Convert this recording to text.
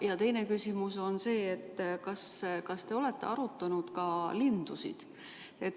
Ja teine küsimus on see: kas te olete arutanud ka linnu?